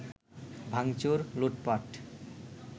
ভাঙচুর, লুটপাট